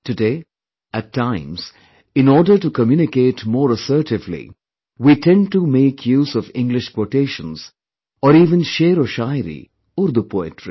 Today, at times, in order to communicate more assertively, we tend to make use of English Quotations or even sheroshayariurdu poetry